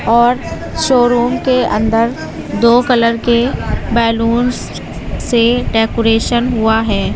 और शोरूम के अंदर दो कलर के बलूंस से डेकोरेशन हुआ है।